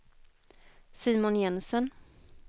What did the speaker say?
Simon Jensen